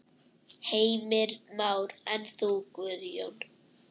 Heimir Már: En þú Guðjón?